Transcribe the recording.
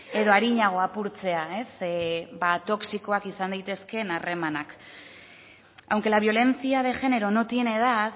edo arinago apurtzea toxikoak izan daitezkeen harremanak aunque la violencia de género no tiene edad